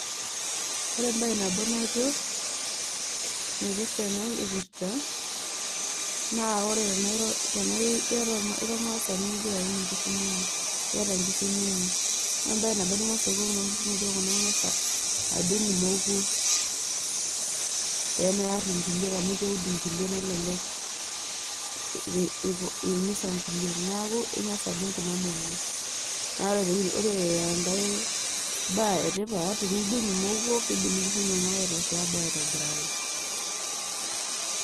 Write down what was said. ore embae nabo najo naipirta ena kipirta naa ore tenairo tenai tenaira ormaasani nigira aata nkishu inonok